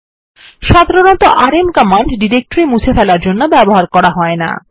সাধারণতঃ RM command directory মুছে ফেলার জন্য ব্যবহার করা হয় না